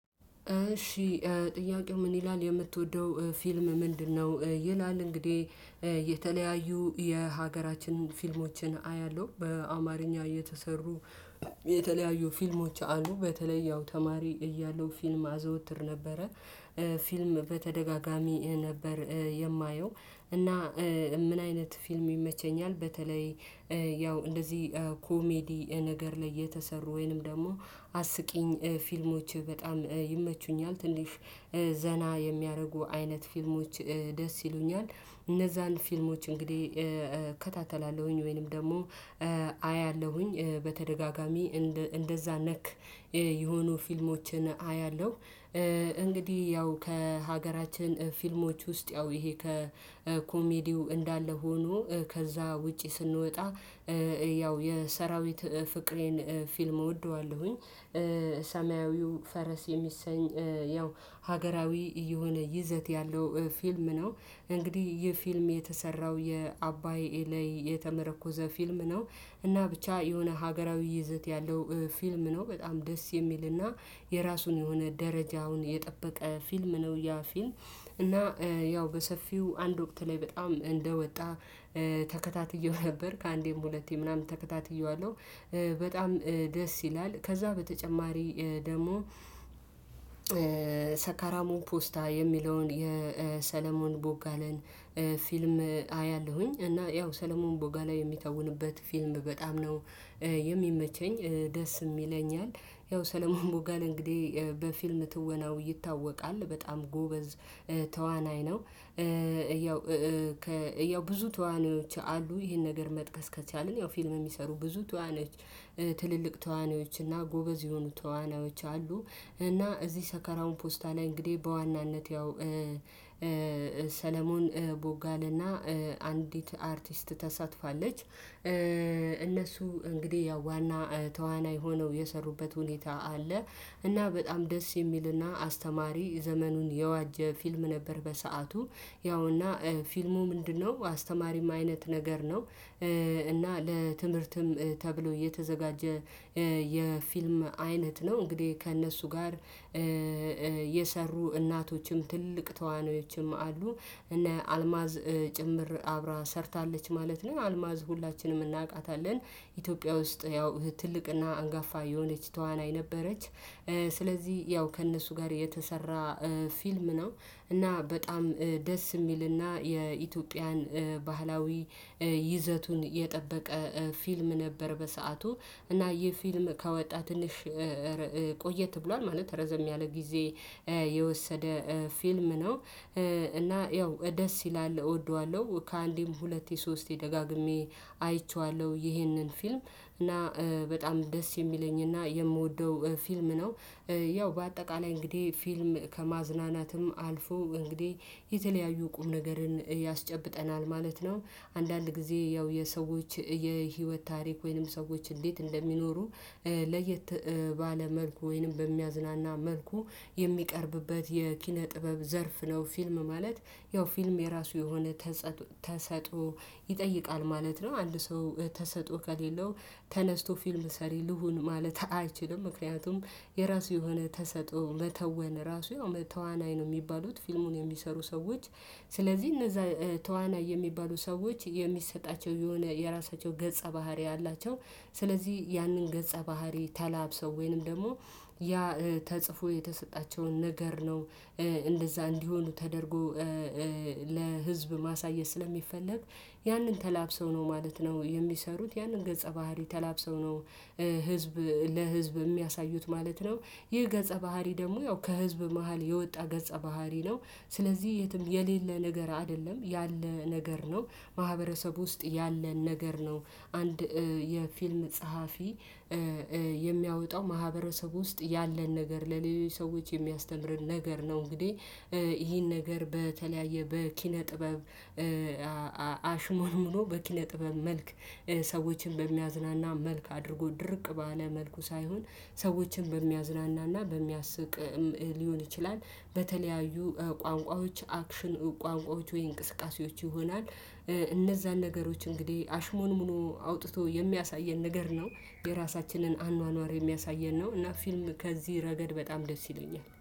እሺ ጥያቄው ምን ይላል የምትወደው ፊልም ምንድን ነው? ይላል። እንግዲህ የተለያዩ የሀገራችንን ፊልሞችን አያለሁ። በአማርኛ የተሰሩ- የተለያዩ ፊልሞች አሉ። በተለይ ያው ተማሪ እያለው ፊልም አዘወትር ነበረ። ፊልም በተደጋጋሚ ነበር የማየው። እና ምን አይነት ፊልም ይመቸኛል በተለይ- ያው እንደዚህ ኮሜዲ ነገር ላይ የተሰሩ ወይንም ደግሞ አስቂኝ ፊልሞች በጣም ይመቹኛል። ትንሽ ዘና የሚያደርጉ አይነት ፊልሞች ደስ ይሉኛል። እነዛን ፊልሞች እንግዲህ እከታተላለሁኝ። ወይንም ደግሞ- አያለሁኝ። በተደጋጋሚ እንደዛ ነክ የሆኑ ፊልሞችን አያለሁ። እንግዲህ ያው ከሀገራችን ፊልሞች ውስጥ ያው ይሄ ከኮሜዲው እንዳለ ሆኖ ከዛ ውጪ ስንወጣ- ያው የሰራዊት ፍቅሬን ፊልም እወደዋለሁኝ። ሰማያዊው ፈረስ የሚሰኝ- ያው ሀገራዊ የሆነ ይዘት ያለው ፊልም ነው። እንግዲህ ይህ ፊልም የተሰራው የአባይ ላይ የተመረኮዘ ፊልም ነው። እና ብቻ የሆነ ሀገራዊ ይዘት ያለው ፊልም ነው። በጣም ደስ የሚልና የራሱን የሆነ ደረጃውን የጠበቀ ፊልም ነው ያ ፊልም። እና- ያው በሰፊው አንድ ወቅት ላይ በጣም እንደወጣ- ተከታትየው ነበር። ከአንዴም ሁለቴ ምናምን ተከታትየዋለሁ። በጣም ደስ ይላል። ከዛ በተጨማሪ ደግሞ- ሰካራሞን ፖስታ የሚለውን የሰለሞን ቦጋለን ፊልም አያለሁኝ። እና ያው ሰለሞን ቦጋላ የሚታወንበት ፊልም በጣም ነው የሚመቸኝ። ደስም ይለኛል። ያው ሰለሞን ቦጋለ እንግዲህ በፊልም ትወናው ይታወቃል በጣም ጎበዝ ተዋናይ ነው። ያው ብዙ ተዋናዮች አሉ። ይሄን ነገር መጥቀስ ከቻልን ያው ፊልም የሚሰሩ ብዙ ተዋናዮች :ትልልቅ ተዋናዮች እና ጎበዝ የሆኑ ተዋናዮች አሉ። እና እዚህ ሰከራሙ ፖስታ ላይ እንግዲህ በዋናነት ያው- ሰለሞን ቦጋለ እና- አንዲት አርቲስት ተሳትፋለች። እነሱ እንግዲህ ያው ዋና ተዋናይ ሆነው የሰሩበት ሁኔታ አለ። እና በጣም ደስ የሚልና አስተማሪ ዘመኑን የዋጀ ፊልም ነበር በሰአቱ። ያውና ፊልሙ ምንድነው አስተማሪም አይነት ነገር ነው። እና ለትምህርትም ተብሎ የተዘጋጀ- የፊልም አይነት ነው። እንግዲህ ከእነሱ ጋር- የሰሩ እናቶችም ትልልቅ ተዋናዮችም አሉ። እነ አልማዝ ጭምር አብራ ሰርታለች ማለት ነው። አልማዝ ሁላችንም እናውቃታለን ኢትዮጵያ ውስጥ ያው ትልቅና አንጋፋ የሆነች ተዋናይ ነበረች። ስለዚህ ያው ከእነሱ ጋር የተሰራ ፊልም ነው እና በጣም ደስ የሚልና የኢትዮጵያን ባህላዊ ይዘቱን የጠበቀ ፊልም ነበር በሰአቱ። እና ይህ ፊልም ከወጣ ትንሽ- ቆየት ብሏል። ማለት ረዘም ያለ ጊዜ የወሰደ ፊልም ነው። እና ያው ደስ ይላል። እወደዋለሁ። ከአንዴም ሁለቴ ሶስቴ ደጋግሜ አይቼዋለሁ ይሄንን ፊልም። እና በጣም ደስ የሚለኝ እና የምወደው ፊልም ነው። ያው በአጠቃላይ እንግዲህ ፊልም ከማዝናናትም አልፎ እንግዲህ የተለያዩ ቁም ነገርን ያስጨብጠናል ማለት ነው። አንዳንድ ጊዜ ያው የሰዎች የህይወት ታሪክ ወይንም ሰዎች እንዴት እንደሚኖሩ- ለየት ባለ መልኩ ወይንም በሚያዝናና መልኩ የሚቀርብበት የኪነ ጥበብ ዘርፍ ነው ፊልም ማለት። ያው ፊልም የራሱ የሆነ- ተሰጥኦ ይጠይቃል ማለት ነው። አንድ ሰው ተሰጥኦ ከሌለው ተነስቶ ፊልም ሰሪ ልሁን ማለት አይችልም። ምክንያቱም የራሱ የሆነ ተሰጥኦ መተወን ራሱ ተዋናይ ነው የሚባሉት ፊልሙን የሚሰሩ ሰዎች። ስለዚህ እነዛ ተዋናይ የሚባሉ ሰዎች የሚሰጣቸው የሆነ የራሳቸው ገጸ ባህሪ አላቸው። ስለዚህ ያንን ገጸ ባህሪ ተላብሰው ወይንም ደግሞ- ያ ተጽፎ የተሰጣቸውን ነገር ነው እንደዛ እንዲሆኑ ተደርጎ- ለህዝብ ማሳየት ስለሚፈለግ- ያንን ተላብሰው ነው ማለት ነው የሚሰሩት። ያንን ገጸ ባህሪ ተላብሰው ነው- ህዝብ ለህዝብ የሚያሳዩት ማለት ነው። ይህ ገጸ ባህሪ ደግሞ ያው ከህዝብ መሃል የወጣ ገጸ ባህሪ ነው። ስለዚህ የትም የሌለ ነገር አይደለም ያለ ነገር ነው ማህበረሰቡ ውስጥ ያለን ነገር ነው አንድ የፊልም ጸሐፊ- የሚያወጣው። ማህበረሰብ ውስጥ ያለን ነገር ለሌሎች ሰዎች የሚያስተምረን ነገር ነው። እንግዲህ ይሄን ነገር በተለያየ በኪነ ጥበብ- አሽሞንሙኖ በኪነ ጥበብ መልክ ሰዎችን በሚያዝናና መልክ አድርጎ ድርቅ ባለ መልኩ ሳይሆን ሰዎችን በሚያዝናናና በሚያስቅ- ሊሆን ይችላል። በተለያዩ ቋንቋዎች አክሽን ቋንቋዎች ወይ እንቅስቃሴዎች ይሆናል። እነዛን ነገሮች እንግዲህ አሽሞንሙኖ አውጥቶ የሚያሳየን ነገር ነው የራሳችንን አኗኗር የሚያሳየን ነው እና ፊልም- ከዚህ ረገድ በጣም ደስ ይለኛል።